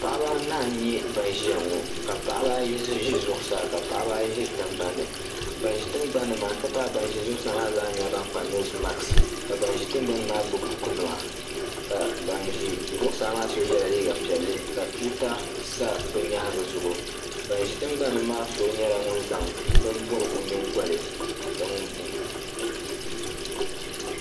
Paɣaba anahi n nyɛ ban ʒiyaŋɔ, ka paɣaba ayi ʒi zuɣu saa ka paɣaba ayi ʒi tiŋ gbanni banʒi tiŋgbani ni maa n ti pahi ban ʒi zuɣu saa maa zaa nyɛla ban kpa nɛse mat, ka ban ʒi tiŋ gban nimaa zaa nyɛla ban gbubi bukunima ka ban ʒi zuɣu saa maa so yela liiga piɛli ka tuuta sa bɛ nyaaŋa zuɣu ban ʒi tiŋgbani maa nyɛla ŋun zaŋ bini n bɔbi ɔ nyiŋgoli